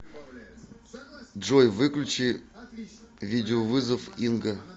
джой выключи видеовызов инга